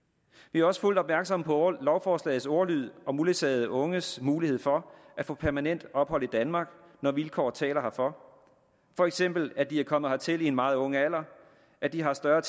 vi er også fuldt opmærksomme på lovforslagets ordlyd om uledsagede unges mulighed for at få permanent ophold i danmark når vilkår taler herfor for eksempel at de er kommet hertil i en meget ung alder at de har større